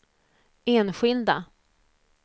enskilda